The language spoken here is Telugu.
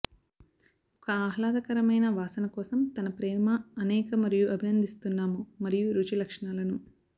ఒక ఆహ్లాదకరమైన వాసన కోసం తన ప్రేమ అనేక మరియు అభినందిస్తున్నాము మరియు రుచి లక్షణాలను